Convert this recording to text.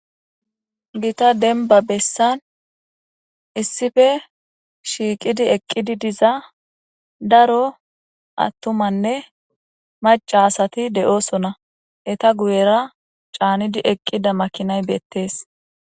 Gita demba nessan shiiqidi eqidi diza daro attumanne maca asati de'osona eeta guyera caanidi eqida makinay beetes.